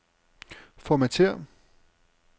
Formatér.